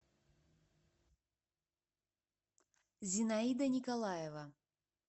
зинаида николаева